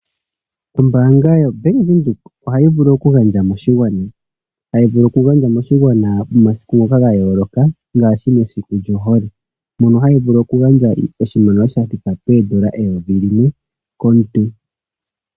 Ombaanga yoBank Windhoek ohayi vulu oku gandja moshigwana , hayi vulu oku gandja moshigwana momasiku ga yooloka ngaashi mesiku lyohole. Ohayi vulu oku gandja oshimaliwa shoondola N$1000 komuntu.